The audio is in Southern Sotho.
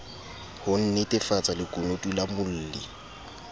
ho nnetefatsa lekunutu la molli